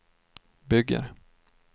bygger